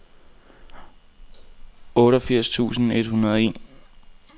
otteogfirs tusind et hundrede og en